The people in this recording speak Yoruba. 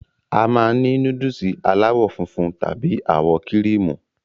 A máa n ni núdùùsì alàwọ funfun tàbí àwọ kíríímù